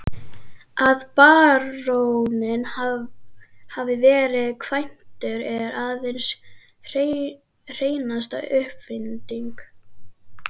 Að baróninn hafi verið kvæntur er aðeins hreinasta uppfinding.